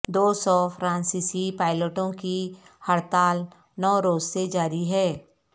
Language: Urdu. دو سو فرانسیسی پائلٹوں کی ہڑتال نو روز سے جاری ہے